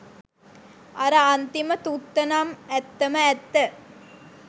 අර අන්තිම තුත්තනම් ඇත්තම ඇත්ත